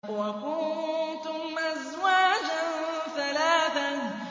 وَكُنتُمْ أَزْوَاجًا ثَلَاثَةً